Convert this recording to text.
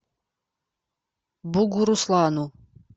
бугуруслану